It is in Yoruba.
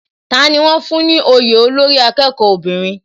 Tani wón fún ní òye olórí akẹ́kọ̀ọ́ obìnrin?